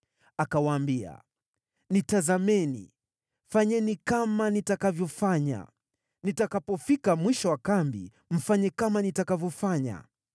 Akawaambia, “Nitazameni, fanyeni kama nitakavyofanya, nitakapofika mwisho wa kambi mfanye kama nitakavyofanya.